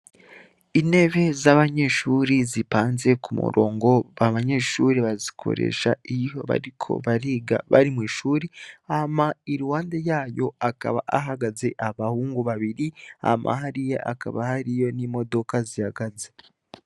Inebe z'abanyeshuri zipanze ku murongo ba banyeshuri bazikoresha iyo bariko bariga bari mw'ishuri ama i ruwande yayo akaba ahagaze abahungu babiri ama hariya akaba hariyo n'imodoka zihagaze.